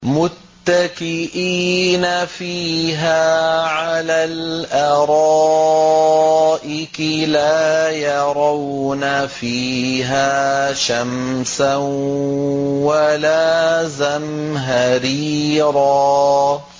مُّتَّكِئِينَ فِيهَا عَلَى الْأَرَائِكِ ۖ لَا يَرَوْنَ فِيهَا شَمْسًا وَلَا زَمْهَرِيرًا